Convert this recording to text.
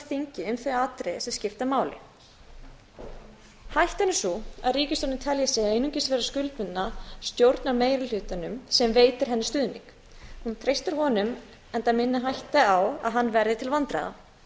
þingið um þau atriði sem skipta máli hættan er sú að ríkisstjórnin telji sig einungis vera skuldbundna stjórnarmeirihlutanum sem veitir henni stuðning hún treystir honum enda minni hætta á að hann verði til vandræða